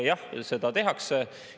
Jah, seda tehakse.